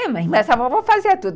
É, mãe, mas a vovó fazia tudo.